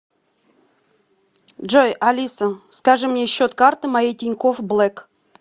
джой алиса скажи мне счет карты моей тинькофф блэк